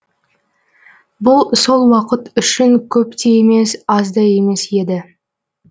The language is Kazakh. бұл сол уақыт үшін көп те емес аз да емес еді